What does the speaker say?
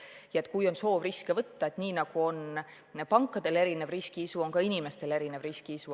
Kui kellelgi on soov riske võtta, siis nii nagu on pankadel erinev riskiisu, on ka inimestel erinev riskiisu.